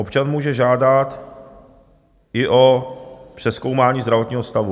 Občan může žádat i o přezkoumání zdravotního stavu...